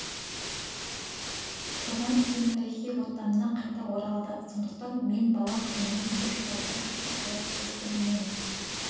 тұрған кейін тарихи отанына қайта оралды сондықтан мен бала күнімнен көкшетауды жақсы көріп өстім мен